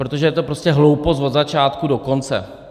Protože je to prostě hloupost od začátku do konce.